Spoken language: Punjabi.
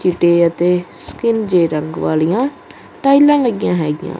ਚਿੱਟੇ ਅਤੇ ਸਕਿਨ ਜੇਹ ਰੰਗ ਵਾਲਿਆਂ ਟਾਈਲਾਂ ਲੱਗੀਆਂ ਹੈਗੀਆਂ।